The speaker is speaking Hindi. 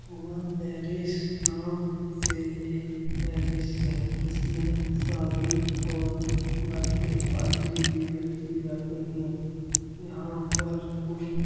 उमा पैलेस नाम से एक पैलेस है जिसमें शादी और बर्थडे पार्टी भी रखी जाती हैं। यहाँ पर कोई --